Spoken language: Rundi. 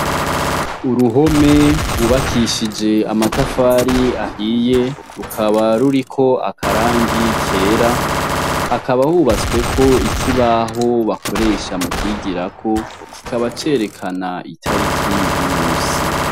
Uruhome rwubakishije amatafari ahiye, rukaba ruriko akarangi kera, hakaba hubatsweko ikibaho bakoresha mukwigirako, kikaba cerekana itariki y'umusi.